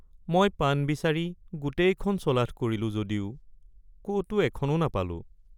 মই পান বিচাৰি গোটেইখন চলাথ কৰিলোঁ যদিও ক'তো এখনো নাপালোঁ।